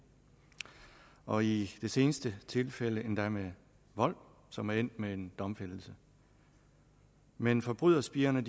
og i de seneste tilfælde endda med vold som er endt med en domfældelse men forbryderspirerne